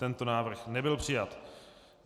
Tento návrh nebyl přijat.